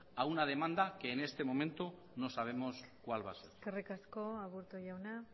a una demanda que en este momento no sabemos cuál va a ser eskerrik asko aburto jauna